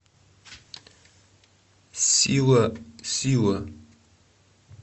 сила сила